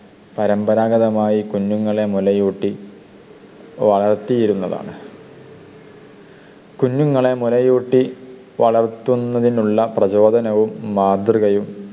പരമ്പരാഗതമായി കുഞ്ഞുങ്ങളെ മുലയൂട്ടി വളർത്തിയിരുന്നതാണ്. കുഞ്ഞുങ്ങളെ മുലയൂട്ടി വളർത്തുന്നതിനുള്ള പ്രചോദനവും മാതൃകയും